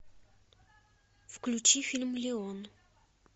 включи фильм леон